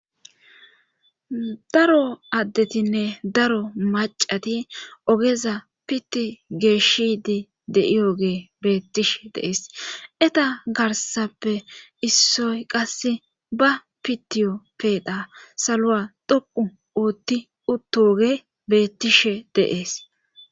Daro addetinne daro macati ogeza pitti geeshshidi de7iyoge beettishe deees eta garsappe issoy qasse ba pitiyo peedha saloa dhoqu oothti uttoge beettishe deees